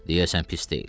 Deyəsən pis deyil.